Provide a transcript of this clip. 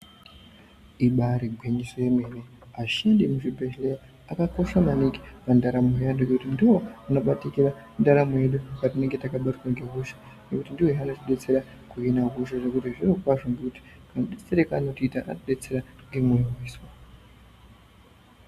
Ibaari gwinyiso yemene ashandi emuzvibhehlera akakosha maningi pandaramo yeantu ngekuti ndiwo anobatikira ndaramo yedu patinenge takabatwa ngehosha ngekuti ndiwohe anotidetsera kuhina hosha zvokuti zvirokwazvo kamudetserero kaanotiita anotidetsera ngemoyo wese.